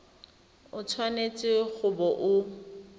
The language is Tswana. o tshwanetse go bo o